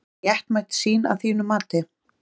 Er það réttmæt sýn að þínu mati?